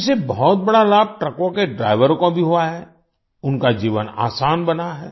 इससे बहुत बड़ा लाभ ट्रकों के ड्राईवरों को भी हुआ है उनका जीवन आसान बना है